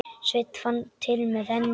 Sveinn fann til með henni.